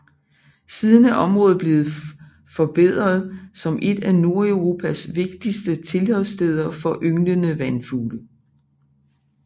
Siden er området blevet forbedret som et af Nordeuropas vigtigste tilholdssteder for ynglende vandfugle